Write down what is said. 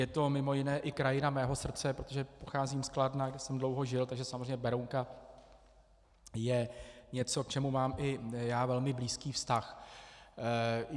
Je to mimo jiné i krajina mého srdce, protože pocházím z Kladna, kde jsem dlouho žil, takže samozřejmě Berounka je něco, k čemu mám i já velmi blízký vztah.